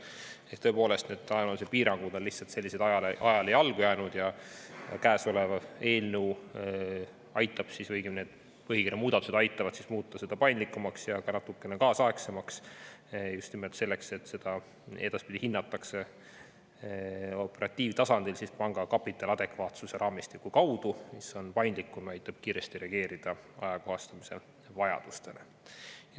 Ehk, tõepoolest, need ajaloolised piirangud on lihtsalt ajale jalgu jäänud ja käesolev eelnõu või, õigemini, need põhikirja muudatused aitavad muuta seda paindlikumaks ja ka natukene kaasaegsemaks just nimelt selleks, et seda edaspidi hinnatakse operatiivtasandil, lähtudes panga kapitali adekvaatsuse raamistikust, mis on paindlikum ja aitab kiiresti reageerida ajakohastamise vajadustele.